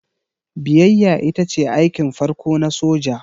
Biyayya ita ce aikin farko na soja.